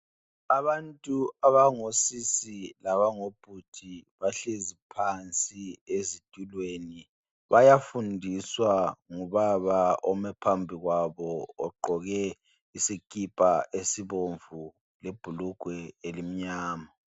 Abantu abangosisi labangobhudi bahlezi phansi ezitulweni. Bayafundiswa ngubaba ome phambi kwabo ogqoke isikipha esibomvu lebhulugwe elimnyama.